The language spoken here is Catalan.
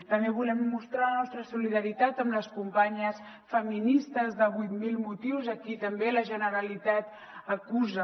també volem mostrar la nostra solidaritat amb les companyes feministes de vuit mil motius a qui també la generalitat acusa